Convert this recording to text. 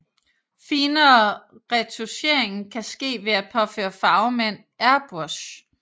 Finere retouchering kan ske ved at påføre farve med en airbrush